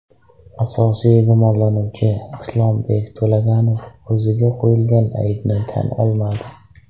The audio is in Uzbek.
Asosiy gumonlanuvchi Islombek To‘laganov o‘ziga qo‘yilgan aybni tan olmadi.